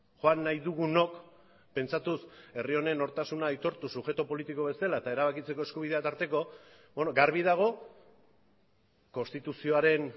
joan nahi dugunok pentsatuz herri honen nortasuna aitortu subjektu politiko bezala eta erabakitzeko eskubidea tarteko garbi dago konstituzioaren